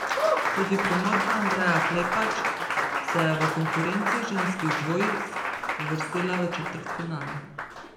Tudi Primorka Andreja Klepač se je v konkurenci ženskih dvojic uvrstila v četrtfinale.